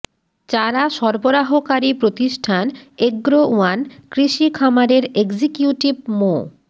চারা সরবরাহকারী প্রতিষ্ঠান এগ্রো ওয়ান কৃষি খামারের এক্সিকিউটিভ মো